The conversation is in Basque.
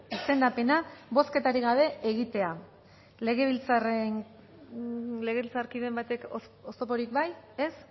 izendapena bozketarik gabe egitea legebiltzarkideren batek oztoporik bai ez